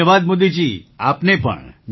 ધન્યવાદ મોદીજી આપને પણ